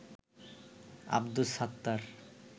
Abdus Sattar